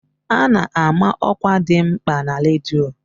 A na-ama ọkwa dị mkpa na redio.